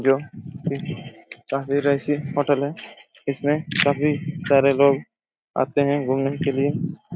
जो की काफी रईसी होटल हैं इसमें काफी सारे लोग आते हैं घूमने के लिए--